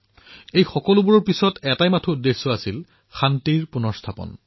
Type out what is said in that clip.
এই সকলোবোৰৰ অন্তৰালত এটাই উদ্দেশ্য আছিল শান্তিৰ পুনঃ স্থাপনা